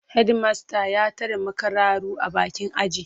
Hedimasta ya tare makararru a bakin aji.